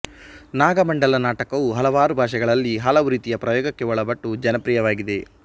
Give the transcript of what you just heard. ನಾಗಮಂಡಲ ನಾಟಕವು ಹಲವಾರು ಭಾಷೆಗಳಲ್ಲಿ ಹಲವು ರೀತಿಯ ಪ್ರಯೋಗಕ್ಕೆ ಒಳಪಟ್ಟು ಜನಪ್ರಿಯವಾಗಿದೆ